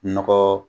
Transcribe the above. Nɔgɔ